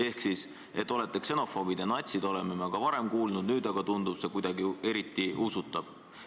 " Ehk siis – et olete ksenofoobid ja natsid, oleme me ka varem kuulnud, nüüd aga tundub see kuidagi eriti usutav ...